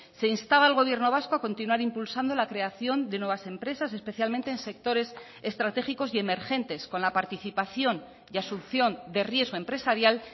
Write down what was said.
se instaba al gobierno vasco a continuar impulsando la creación de nuevas empresas especialmente en sectores estratégicos y emergentes con la participación y asunción de riesgo empresarial